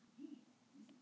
Ég þarf ekki að elda mat.